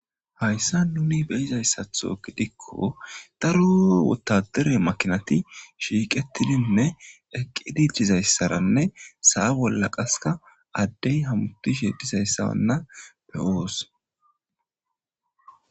Hayssa nuni beyizayssatho gidikko daru wotadere makinati shiiqettidinne eqqiditizayssaranne sa'a bolla qaska addey hamutish he dizayssaranna pewoos.